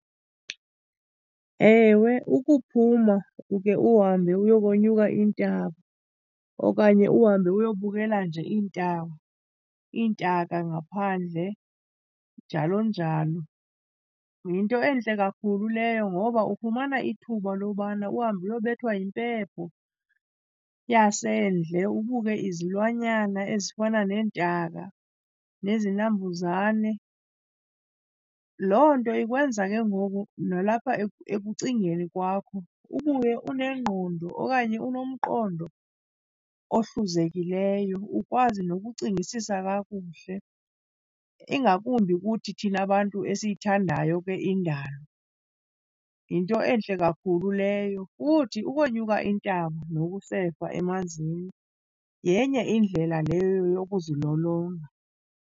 Ewe, ukuphuma uke uhambe uyokonyuka iintaba okanye uhambe uyobukela nje iintaba, iintaka ngaphandle njalo njalo, yinto entle kakhulu leyo. Ngoba ufumana ithuba lobana uhambe uyobethwa yimpepho yasendle, ubuke izilwanyana ezifana neentaka nezinambuzane. Loo nto ikwenza ke ngoku nalapha ekucingeni kwakho ubuye unengqondo okanye unomqondo ohluzekileyo, ukwazi nokucingisisa kakuhle, ingakumbi kuthi thina bantu esiyithandayo ke indalo, yinto entle kakhulu leyo. Futhi ukonyuka intaba nokusefa emanzini yenye indlela leyo yokuzilolonga.